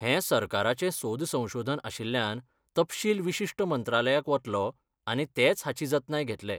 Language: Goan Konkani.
हें सरकाराचें सोद संशोधन आशिल्ल्यान तपशील विशिश्ट मंत्रालयाक वतलो आनी तेच हाची जतनाय घेतले.